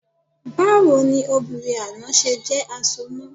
Báwo ni obìnrin àná ṣe jẹ́ asoná?